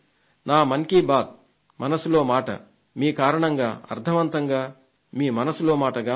మన్ కీ బాత్ మనసులో మాట మీ కారణంగా అర్థవంతంగా మీ మనసులో మాటగా మారింది